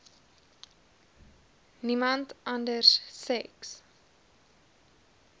niemand anders seks